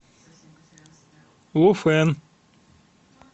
луфэн